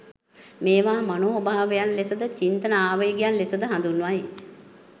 මේවා මනෝභාවයන් ලෙස ද, චිත්ත ආවේගයන් ලෙස ද හඳුන්වයි.